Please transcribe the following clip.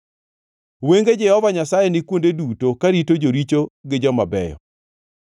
Wenge Jehova Nyasaye ni kuonde duto, karito joricho gi joma beyo.